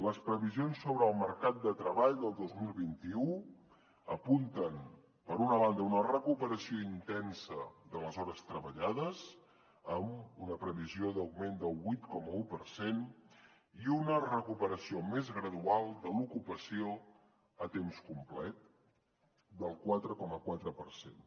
les previsions sobre el mercat de treball del dos mil vint u apunten per una banda una recuperació intensa de les hores treballades amb una previsió d’augment del vuit coma un per cent i una recuperació més gradual de l’ocupació a temps complet del quatre coma quatre per cent